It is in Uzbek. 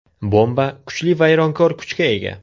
Bomba kuchli vayronkor kuchga ega.